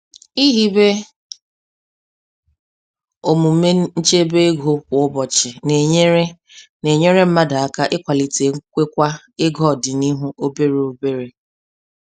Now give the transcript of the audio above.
Ihibe omume nchebe ego kwa ụbọchị na-enyere na-enyere mmadụ aka ikwalite nkwekwa ego ọdịnuhụ obere obere.